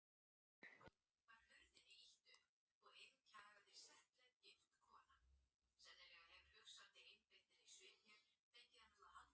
Vindurinn setur fyrst af sér stærstu kornin og hleður þeim í skafla eða sandhóla.